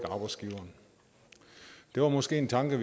arbejdsgiveren det var måske en tanke